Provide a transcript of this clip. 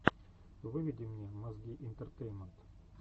выведи мне мозги интертеймент